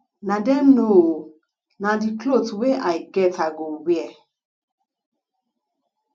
na dem know oo na the cloth wey i get i go wear